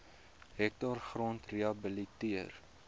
hektaar grond gerehabiliteer